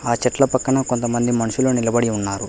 ఆ చెట్ల పక్కన కొంతమంది మనుషులు నిలబడి ఉన్నారు.